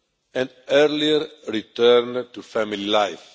and an earlier return to family life.